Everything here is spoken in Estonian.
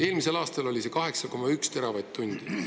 Eelmisel aastal oli tarbimine 8,1 teravatt-tundi.